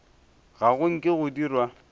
ga go nke go dirwa